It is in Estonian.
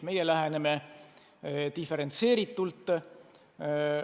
Meie läheneme diferentseeritult.